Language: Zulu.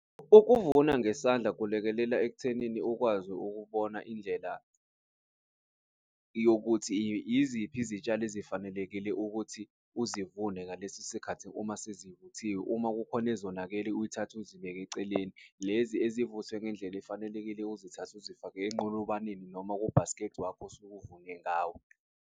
Ukuvuna ngesandla kulekelela ekuthenini ukwazi ukubona indlela yokuthi iziphi izitshalo ezifanelekile ukuthi uzivune ngalesikhathi, uma sezivuthiwe, uma kukhona ezonakele, uyithathe uzibeke eceleni lezi ezivuthwe ngendlela efanelekile. Uzithathe uzifake enqolobaneni noma kubhaskidi wakho osuke uvune ngawo.